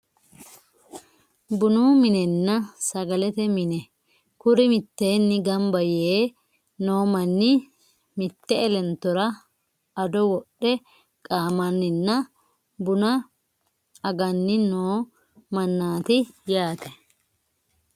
Bunu minenna sagalete mine kuri mitteenni gamba yee noo manni mitte elentora ado wodhe qaamanninna buna aganni noo mannaati yaate